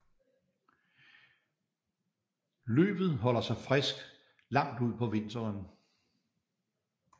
Løvet holder sig frisk langt ud på vinteren